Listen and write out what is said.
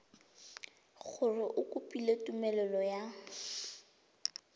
gore o kopile tumelelo ya